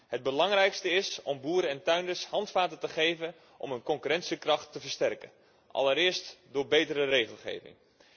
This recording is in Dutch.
Het belangrijkste is om boeren en tuinders handvatten te geven om hun concurrentiekracht te versterken, allereerst door betere regelgeving.